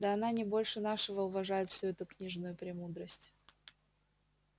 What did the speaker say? да она не больше нашего уважает всю эту книжную премудрость